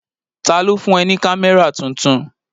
Ta ló fún ẹ ní kámẹ́rà tuntun?